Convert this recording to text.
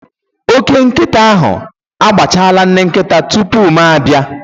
Ókè nkịta ahụ agbachala nne nkịta tupu ma abịa.